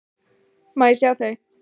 Má ég sjá þau?